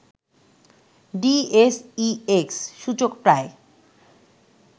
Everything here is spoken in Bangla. ডিএসইএক্স সূচক প্রায়